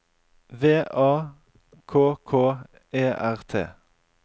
V A K K E R T